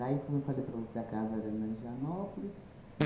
como eu falei para você, a casa era na Higienópolis.